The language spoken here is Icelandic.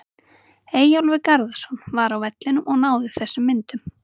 Eyjólfur Garðarsson var á vellinum og náði þessum myndum.